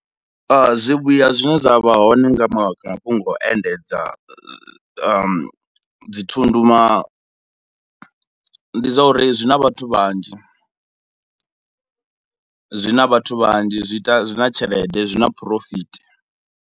Zwivhuya zwine zwa vha hone nga mafhungo a u endedza dzithundu na ndi zwa uri zwi na vhathu vhanzhi, zwi na vhathu vhanzhi zwi ita, zwi na tshelede, zwi na phurofiti.